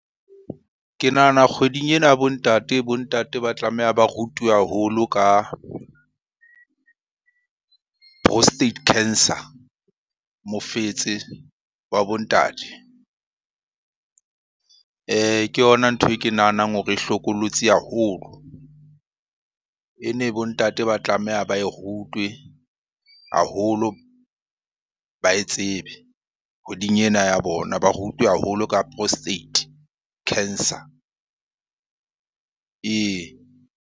Ke nahana kgweding ena ya bo ntate, bo ntate ba tlameha ba rutwe haholo ka prostate cancer. Mofetse wa bo ntate. Ke yona ntho e ke nahanang hore e hlokolosi haholo, e ne bontate ba tlameha ba e rutwe haholo, ba e tsebe kgweding ena ya bona. Ba rutwe haholo ka prostate cancer, ee.